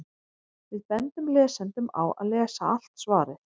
Við bendum lesendum á að lesa allt svarið.